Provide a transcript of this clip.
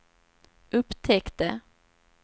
upptäckte